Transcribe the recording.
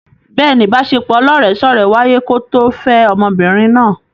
Bẹ́ẹ̀ni, ìbaṣepọ̀ ọlọ́rẹ̀ẹ́sọ́rẹ̀ẹ́ wáyé kó tó fẹ́ ọmọbìnrin náà.